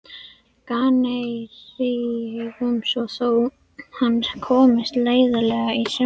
Kanaríeyjum svo þjóð hans komist landleiðina í sumarfrí.